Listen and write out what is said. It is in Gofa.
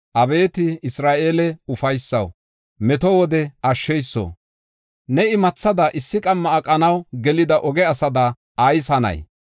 Abeeti Isra7eele ufaysaw, meto wode ashsheyso, ne imathada, issi qamma aqanaw gelida oge asada ayis hanay?